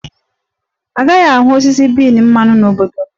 A gaghị ahụ osisi bean mmanụ n' obodo m.